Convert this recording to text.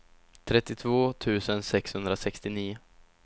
trettiotvå tusen sexhundrasextionio